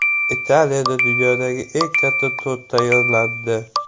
Italiyada dunyodagi eng katta tort tayyorlandi.